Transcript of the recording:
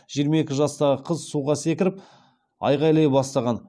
жиырма екі жастағы қыз суға секіріп айғайлай бастаған